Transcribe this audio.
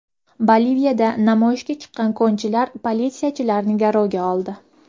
Boliviyada namoyishga chiqqan konchilar politsiyachilarni garovga oldi.